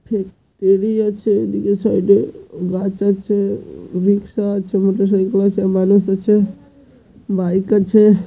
ফ ফেরি আছে এই দিকে সাইড -এ গাছ আছে রিকশা আছে মোটরসাইকেল আছে মানুষ আছে বাইক আছে।